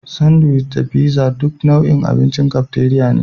Sandiwic da figza dukansu nau'in abincin kafteriya ne.